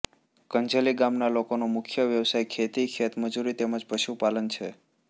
કંજેલી ગામના લોકોનો મુખ્ય વ્યવસાય ખેતી ખેતમજૂરી તેમ જ પશુપાલન છે